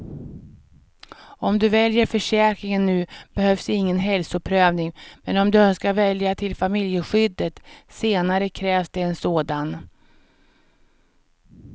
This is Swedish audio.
Om du väljer försäkringen nu behövs ingen hälsoprövning, men om du önskar välja till familjeskyddet senare krävs det en sådan.